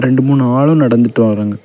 ரெண்டு மூணு ஆளும் நடந்துட்டு வராங்க.